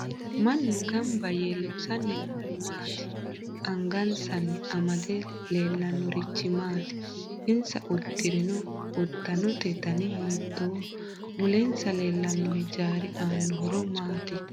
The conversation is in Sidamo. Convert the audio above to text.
Mannu ganbba yee loosani noori maati angansani amade leelannorichi mati insa uddirinno uddanote dani hiitooho mulensa leelano hijaari aano horo maati